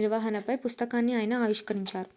నిర్వహణపై పుస్తకాన్ని ఆయన ఆవిష్కరించారు